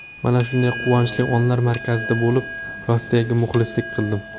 Mana shunday quvonchli onlar markazida bo‘lib, Rossiyaga muxlislik qildim.